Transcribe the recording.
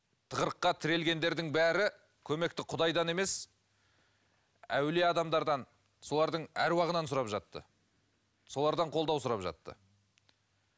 тығырыққа тірелгендердің бәрі көмекті құдайдан емес әулие адамдардан солардың аруағынан сұрап жатты солардан қолдау сұрап жатты